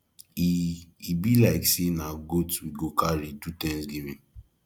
e e be like say na goat we go carry do thanksgiving